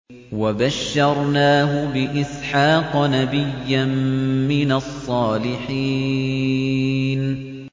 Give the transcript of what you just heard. وَبَشَّرْنَاهُ بِإِسْحَاقَ نَبِيًّا مِّنَ الصَّالِحِينَ